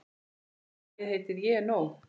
Lagið heitir Ég er nóg.